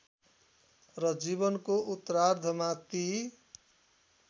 र जीवनको उत्तरार्धमा ती